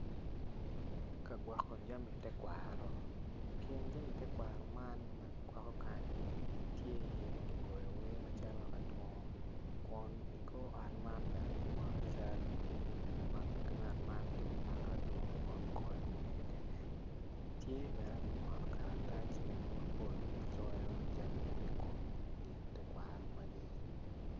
Ka gwoko jami tekwaro i kin jami tekwaro man ma kigwoko kanyi tye iye gigoyo wer macalo adungo kun kor ot man bene kimwono cal ma ngat man tye ka mako adungo kun goyo wer kwede tye bene kimwono karatac mapol ma coyo jami i kom gin tekwaro magi.